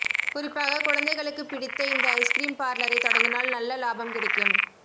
குறிப்பாகக் குழந்தைகளுக்குப் பிடித்த இந்த ஐஸ்க்ரீம் பார்லரை தொடங்கினால் நல்ல லாபம் கிடைக்கும்